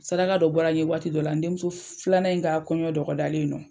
Saraka dɔ bɔra ye waati dɔ la n denmuso filanan in ka kɔɲɔ dɔgɔdalen nɔ.